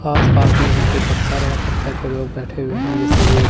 आस पास में यहां पे पत्थर है पत्थर पे लोग बैठे हुए हैं जैसे ये--